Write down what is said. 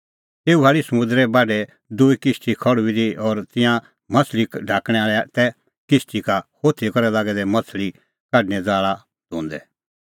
तेऊ भाल़ी समुंदरे बाढै दूई किश्ती खल़्हुई दी और तिंयां माह्छ़ली ढाकणैं आल़ै तै किश्ती का होथी करै लागै दै माह्छ़ली ढाकणें ज़ाल़ा धोंदै